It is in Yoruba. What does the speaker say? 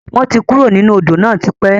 Wọn tí kúrò nínú Odò náà tipẹ́